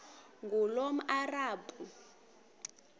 ngulomarabu